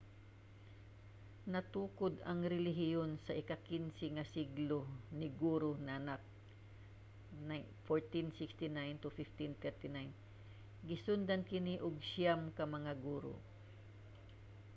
natukod ang relihiyon sa ika-15 nga siglo ni guru nanak 1469–1539. gisundan kini og siyam ka mga guru